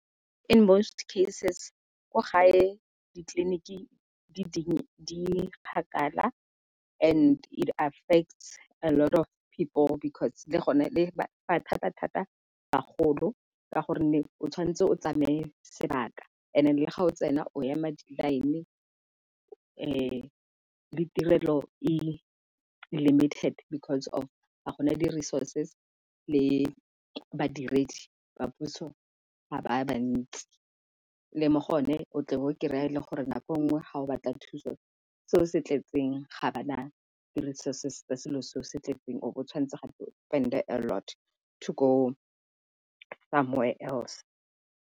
In most cases ko gae ditleliniki di kgakala and it affects a lot of people because le gone e ama thata-thata bagolo ka gonne o tshwanetse o tsamaye sebaka and-e le ga o tsena o ema di-line le tirelo e limited because of ga gona di resources le badiredi ba puso ga ba bantsi. Le mo go ne o tle be o kry-a le gore nako nngwe ga o batla thuso se o se tletseng ga ba na di-resources tsa selo se o se tletseng o bo o tshwanetse gape o spend-e a lot to go somewhere else.